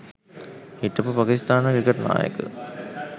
හිටපු පාකිස්ථාන ක්‍රිකට් නායක